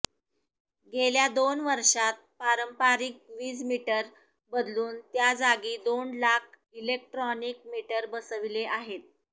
गेल्या दोन वर्षांत पारंपारिक वीजमीटर बदलून त्याजागी दोन लाख इलेक्ट्रॉनिक मीटर बसविले आहेत